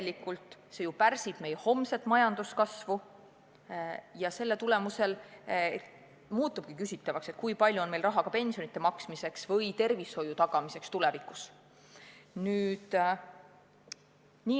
Ning see ju pärsib meie homset majanduskasvu ja selle tagajärjel muutub küsitavaks, kui palju on meil raha pensionide maksmiseks või tervishoiu tagamiseks tulevikus.